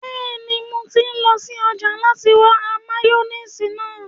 Bẹ́ẹ̀ni, mo ti lọ sí ọjà láti ra máyóníìsì náà